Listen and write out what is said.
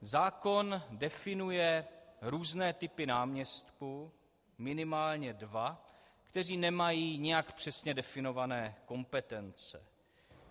Zákon definuje různé typy náměstků, minimálně dva, kteří nemají nijak přesně definované kompetence.